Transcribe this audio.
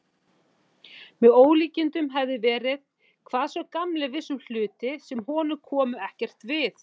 Með ólíkindum hefði verið, hvað sá gamli vissi um hluti, sem honum komu ekkert við.